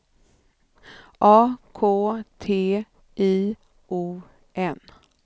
A K T I O N